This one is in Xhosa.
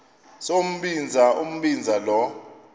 sombinza umbinza lo